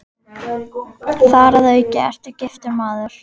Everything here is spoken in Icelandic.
Þar að auki ertu giftur maður.